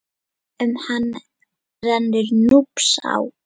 Um hann rennur Núpsá.